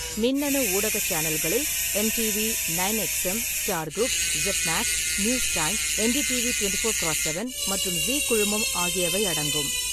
மின்னணு ஊடக சேனல்களில், MTV, nine XM, Star group, Set Max, News Time, NDTV twenty four cross seven மற்றும் Zee குழுமம் ஆகியவை அடங்கும்.